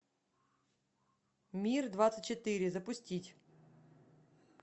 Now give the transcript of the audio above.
мир двадцать четыре запустить